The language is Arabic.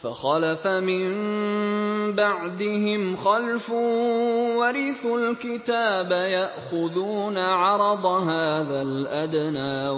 فَخَلَفَ مِن بَعْدِهِمْ خَلْفٌ وَرِثُوا الْكِتَابَ يَأْخُذُونَ عَرَضَ هَٰذَا الْأَدْنَىٰ